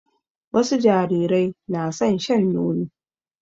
Wasu jarirai na son shan nono.